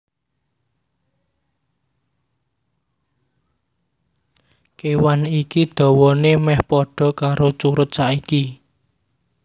Kéwan iki dawané mèh padha karo curut saiki